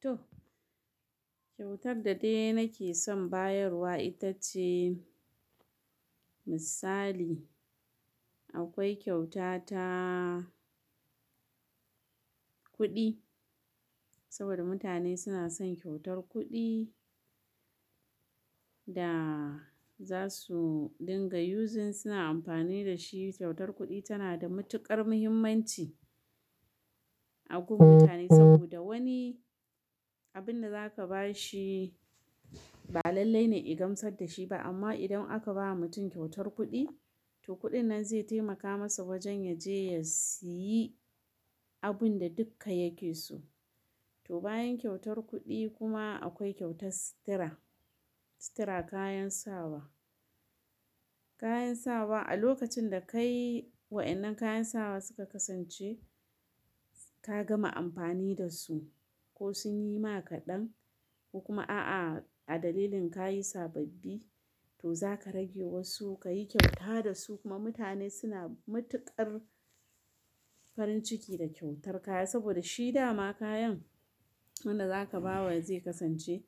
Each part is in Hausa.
To kyautar da dai nake san bayarwa itace misali. Akwai kyauta ta kuɗi saboda mutane suna son kyautar kuɗi da za su dinga using suna amfani da shi. Kyautar kuɗi tana da matuƙar muhimmanci a gun mutane saboda wani abin da za ka ba shi ba lallai ne ya gamsar da shi ba. Amma idan aka ba mutum kyautar kuɗi, to kuɗin nan zai taimaka masa wajen ya je ya siyi abun da duka yake so. To bayan kyautar kuɗi kuma akwai kyautar sutira. Sutira, kayan sawa. Kayan sawa a lokacin da kai wa'ennan kayan sawa suka kasance ka gama amfani da su ko sun yi ma ka ɗan ko kuma a'a a dalilin ka yi sababbi, to za ka rage wasu, ka yi kyauta da su kuma mutane suna matuƙar farin ciki da kyautar kaya saboda shi dama kayan wanda za ka ba wa zai kasance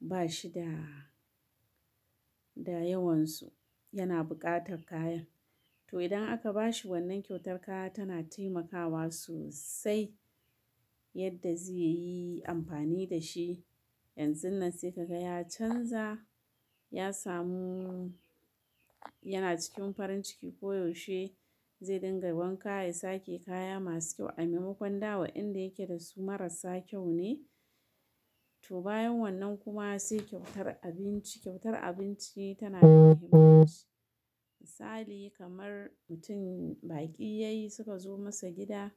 ba shi da, da yawansu yana buƙatar kayan. To idan aka ba shi wannan kyautar kaya tana taimakawa sosai yadda zai yi amfani da shi. Yanzun nan sai ka ga ya canza, ya samu yana cikin farin ciki ko yaushe zai dinga wanka, ya sake kaya masu kyau. A maimakon da wayanda yake dasu marasa kyau ne to bayan wannan kuma sai kyautar abinci. Kyautar abinci tanada mahimmanci misali kamar mutum bakinyayi suka zo masa gida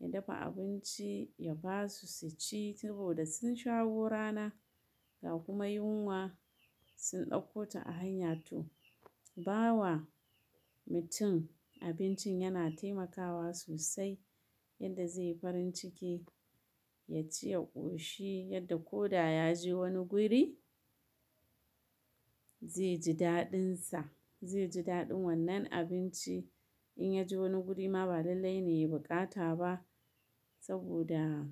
ya basu abinci su ci, sabida sun shawo rama ga kuma yunwa sun dauko ta a hanya to bawa mutum abincin yana taimakawa sosai yadda zai yi farin ciki, ya ci, ya ƙoshi yadda ko da ya je wani guri zai ji daɗinsa, zai ji daɗin wannan abinci. In ya je wani guri ma ba lallai ne ya yi buƙata ba saboda.